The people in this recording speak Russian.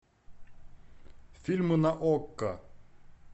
фильмы на окко